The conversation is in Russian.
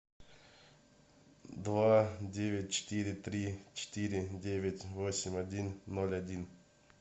два девять четыре три четыре девять восемь один ноль один